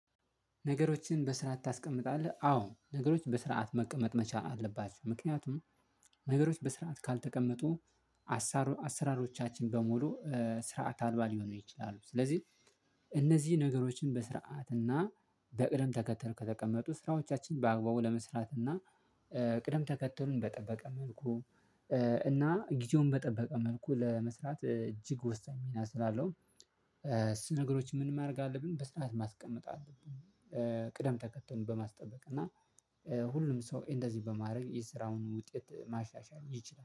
ነገሮችን በስርዓት ታስቀምጣለህ? አዎ! ነገሮች በስርዓት መቀመጥ መቻል አለባቸው ምክንያቱም ነገሮች በስርዓት ካልተቀመጡ አሰራሮቻችን በሙሉ ስርዓት አልባ ሊሆኑ ይችላሉ ስለዚህ እነዚህ ነገሮችን በስርዓት እና በቅደም ተከተል ከተቀመጡ ስራዎቻችን በአግባቡ ለመስራትና ቅደም ተከተሉን በጠበቀ መልኩ እና ጊዜውን በጠበቀ መልኩ ለመስራት እጅግ ወሳኝ ሚና ስላለው እሱ ነገሮች ምን ማድረግ አለብን? በስርዓት ማስቀመጥ አለብን። ቅደም ተከተል በማስጠበቅ እና ሁሉም ሰው እንደዚህ በማድረግ የስራውን ውጤት ማሻሻል ይችላል።